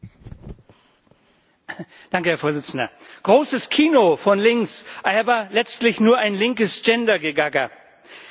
Herr Präsident! Großes Kino von links, aber letztlich nur ein linkes Gender Gegacker. Ich werde dagegen stimmen.